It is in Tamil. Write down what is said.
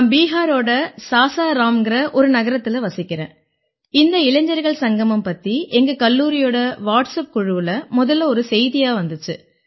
நான் பிஹாரோட சாசாராம்ங்கற ஒரு நகரத்தில வசிக்கறேன் இந்த இளைஞர்கள் சங்கமம் பத்தி எங்க கல்லூரியோட வாட்ஸப் குழுவுல முதல்ல ஒரு செய்தியா வந்திச்சு